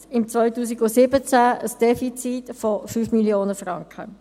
im Jahr 2017 ein Defizit von 5 Mio. Franken.